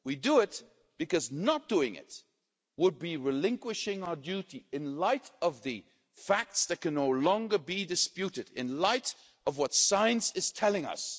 We do it because not doing it would be relinquishing our duty in light of the facts that can no longer be disputed, and in light of what science is telling us.